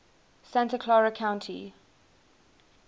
santa clara county